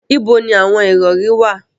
Ibo ni awon irori wa